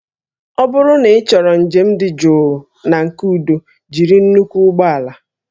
Ọ bụrụ na ịchọrọ njem dị jụụ na nke udo jiri nnukwu ụgbọ ala